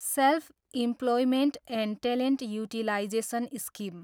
self employment and talent utilisation scheme